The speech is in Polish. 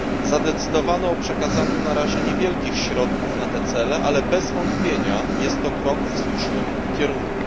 Zadecydowano o przekazaniu na razie niewielkich środków na te cele, ale bez wątpienia jest to krok w słusznym kierunku.